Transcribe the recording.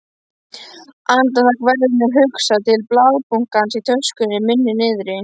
Andartak verður mér hugsað til blaðabunkans í töskunni minni niðri.